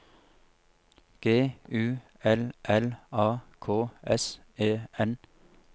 G U L L A K S E N